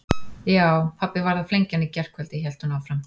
Já, pabbi varð að flengja hann í gærkvöldi hélt hún áfram.